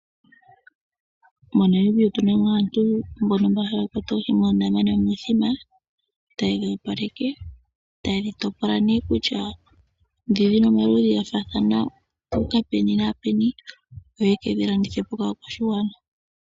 MoNamibia omuna aantu mbono haya kwata oohi moondama nomithima. Ta yedhoopaleke nokudhi topola shi ikwatelela komaludhi gadho, yo yekedhi landithepo kaakwashigwana.